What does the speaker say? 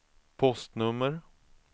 postnummer